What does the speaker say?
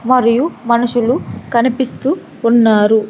మరియు మనుషులు కనిపిస్తూ ఉన్నారు.